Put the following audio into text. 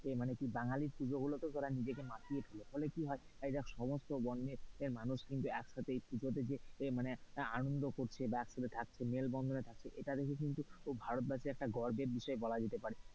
এর মানে বাঙালির পুজোগুলোতে ও তারা নিজেকে মাতিয়ে তোলে ফলে কি হয় এই দেখ সমস্ত বর্ণের মানুষ কিন্তু একসাথে পুজোতে মানে আনন্দ করছে একসাথে থাকছে মেলবন্ধন করে থাকছে। এটা দেখে কিন্তু ভারতবাসীর একটা গর্বের বিষয় বলা হতে পারে।